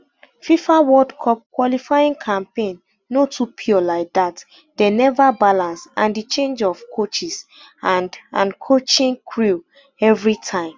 fifa world cup qualifying campaign no too pure like dat dem neva balance and di change of coaches and and coaching crew evritime